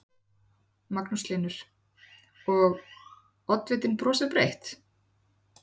Magnús Hlynur: Og, oddvitinn brosir breytt?